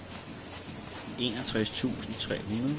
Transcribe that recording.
enogtres tusind tre hundrede